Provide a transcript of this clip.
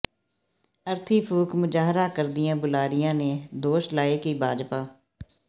ਅਰਥੀ ਫੂਕ ਮੁਜਾਹਰਾ ਕਰਦਿਆਂ ਬੁਲਾਰਿਆਂ ਨੇ ਦੋਸ਼ ਲਾਏ ਕਿ ਭਾਜਪਾ